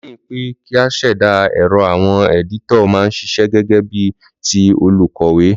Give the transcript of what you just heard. Léyìn pe kí a sèdà èrò, àwon editor ma n sisẹ́ gégé bí ti olùkòwé